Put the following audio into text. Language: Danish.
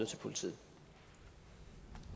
til politiet